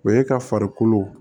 O ye ka farikolo